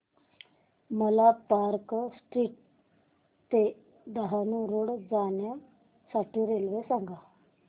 मला Park Street ते Dahanu Road जाण्या साठी रेल्वे सांगा